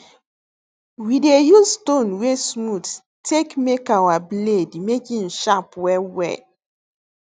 we dey use stone wey smooth take make our blade make em sharp well well